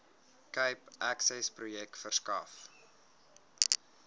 cape accessprojek verskaf